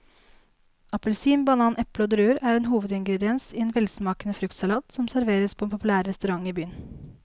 Appelsin, banan, eple og druer er hovedingredienser i en velsmakende fruktsalat som serveres på en populær restaurant i byen.